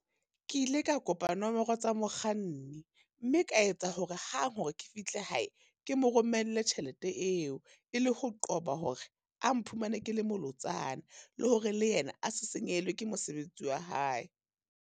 Ke ile ka kopa nomoro tsa mokganni, mme ka etsa hore hang hore ke fihle hae, ke mo romelle tjhelete eo. E le ho qoba hore a mphumane ke le molotsana, le hore le yena a se senyehelwe ke mosebetsi wa hae.